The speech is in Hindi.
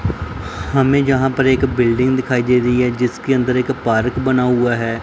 हमें यहां पर एक बिल्डिंग दिखाई दे री हैं जिसके अंदर एक पार्क बन हुआ हैं।